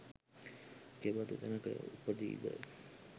කෙබඳු තැනක උපදීද?